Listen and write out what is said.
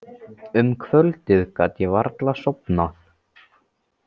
Um kvöldið gat ég varla sofnað.